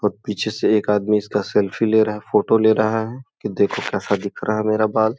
और पीछे से एक आदमी इसका सेल्फी ले रहा है फोटो ले रहा है कि देखो कैसा दिख रहा है मेरा बाल ।